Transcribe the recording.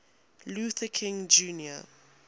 luther king jr